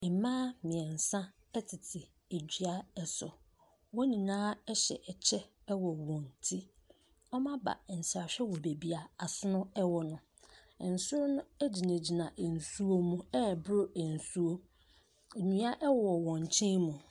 Mmea mmiensa ɛtete dua so wɔn nyinaa ɛhyɛ kyɛw ɛwɔ wɔn tire ɔmɔ aba nsrahwɛ ɛwɔ beaeɛ asono ɛwɔ no nsono no gyina gyina nsuo mu ɛboro nsuo no dua wɔ wɔn nkyɛn mu.